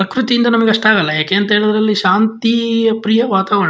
ಪ್ರಕೃತಿ ಇಂದ ನಮಗೆ ಅಷ್ಟಾಗಲ್ಲ ಯಾಕೆ ಅಂತೇಳಿದ್ರೆ ಅಲ್ಲಿ ಶಾಂತಿ ಪ್ರಿಯ ವಾತಾವರಣ--